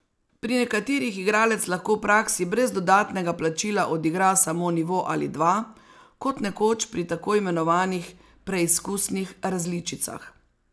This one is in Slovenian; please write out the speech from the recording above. Pri nekaterih igralec lahko v praksi brez dodatnega plačila odigra samo nivo ali dva, kot nekoč pri tako imenovanih preizkusnih različicah.